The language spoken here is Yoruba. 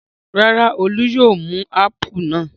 Rárá, Olú yóò mú ápù náà.